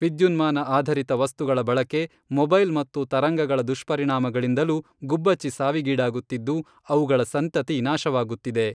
ವಿದ್ಯುನ್ಮಾನ ಆಧರಿತ ವಸ್ತುಗಳ ಬಳಕೆ, ಮೊಬೈಲ್ ಮತ್ತು ತರಂಗಗಳ ದುಷ್ಪರಿಣಾಮಗಳಿಂದಲೂ ಗುಬ್ಬಚ್ಚಿ ಸಾವಿಗೀಡಾಗುತ್ತಿದ್ದು, ಅವುಗಳ ಸಂತತಿ ನಾಶವಾಗುತ್ತಿದೆ.